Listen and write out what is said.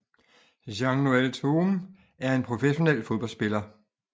Jean Noël Thome er en professional fodboldspiller